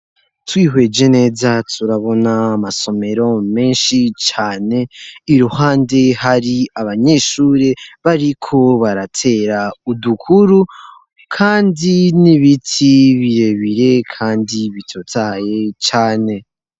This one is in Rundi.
Twihweje neza turabona amasomero menshi cane iruhande hari abanyeshuri bariko baratera udukuru kandi n'ibiti birebire kandi bitotahaye cane.